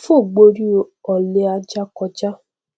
fò gborí ọlẹ ajá kọjá